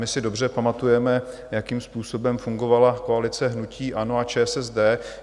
My si dobře pamatujeme, jakým způsobem fungovala koalice hnutí ANO a ČSSD.